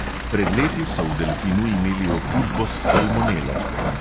Pred leti so v delfinu imeli okužbo s salmonelo.